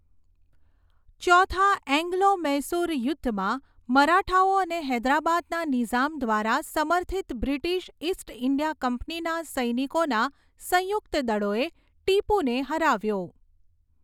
ચોથા એંગ્લો મૈસુર યુદ્ધમાં, મરાઠાઓ અને હૈદરાબાદના નિઝામ દ્વારા સમર્થિત બ્રિટિશ ઇસ્ટ ઇન્ડિયા કંપનીના સૈનિકોના સંયુક્ત દળોએ ટીપુને હરાવ્યો.